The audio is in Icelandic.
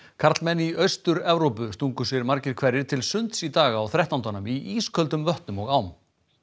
karlmenn í Austur Evrópu stungu sér margir hverjir til sunds í dag á þrettándanum í ísköldum vötnum og ám